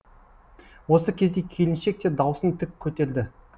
осы кезде келіншек те даусын тік көтерді